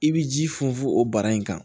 I bɛ ji funfun o bara in kan